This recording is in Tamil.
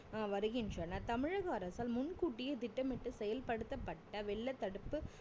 ஆஹ் வருகின்றனர் தமிழக அரசால் முன்கூட்டியே திட்டமிட்டு செயல்படுத்தப்பட்ட வெள்ள தடுப்பு